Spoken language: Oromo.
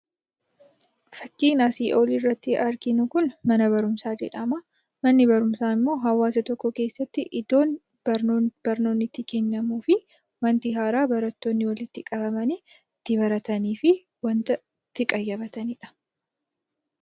Fakkiin asii olitti arginu kun mana barumsaa jedhama. Manni barumsaa immoo hawaasa tokko keessatti iddoo barnoonni itti kennamuu fi wanti haaraa barattoonni walitti qabamanii itti baratanii fi itti qayyabatanidha.